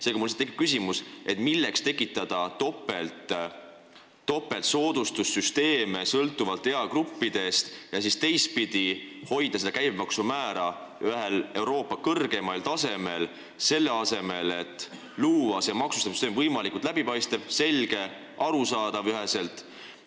Seega, mul tekib lihtsalt küsimus, milleks tekitada topelt soodustussüsteeme sõltuvalt eagruppidest, aga samas hoida käibemaksu määra Euroopa kõrgeimal tasemel, selle asemel et luua võimalikult läbipaistev, selge ja üheselt arusaadav maksustamissüsteem.